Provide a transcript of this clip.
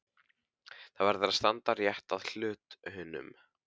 Það verður að standa rétt að hlutunum.